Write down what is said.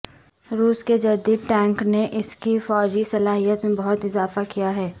روس کے جدید ٹینک نے اس کی فوجی صلاحیت میں بہت اضافہ کیا ہے